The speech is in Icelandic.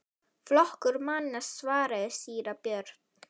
Flokkur manna, svaraði síra Björn.